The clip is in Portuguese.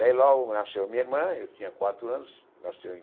Daí logo nasceu minha irmã, eu tinha quatro anos, nasceu em